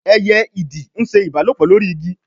eye Ìdì nṣe ìbálòpọ̀ lórí Igi.